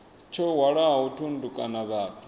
tsho hwalaho thundu kana vhathu